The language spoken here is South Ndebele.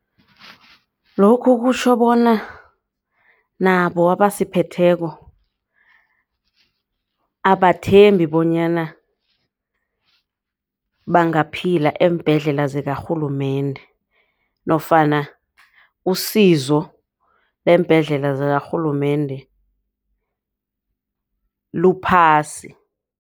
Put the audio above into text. Lokhu kutjho bona nabo abasiphetheko abathembi bonyana bangaphila eembhedlela zakarhulumende nofana usizo eembhedlela zakarhulumende luphasi.